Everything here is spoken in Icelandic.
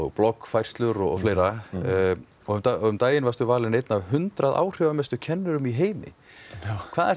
bloggfærslur og fleira um daginn varstu valinn einn af hundrað áhrifamestu kennurum í heiminum hvað er